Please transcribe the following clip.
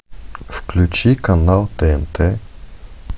включи канал тнт